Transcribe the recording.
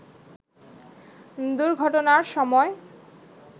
দুর্ঘটনার সময়